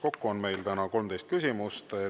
Kokku on meil täna 13 küsimust.